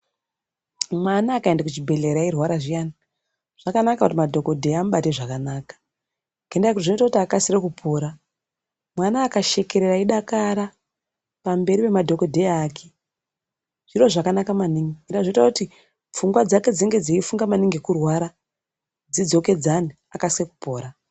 Mwana akayenda kuchi bhedhlera eyirwara zviyani, zvakanaka kuti madhokodheya amubate zvakanaka ngendaa yokuti zvinoite akasire kupora. Mwana akas hekerera eyi dakara pamberi pema dhokodheya ake zviro zvakanaka maningi pheya zvinoita kuti pfungwa dzinenge dzeifunga manhingi kurwara dzidzo kedzane akasire kupora.